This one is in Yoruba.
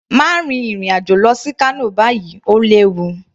Má rin ìrìn àjò lọ sí Kano báyìí, Ó léwu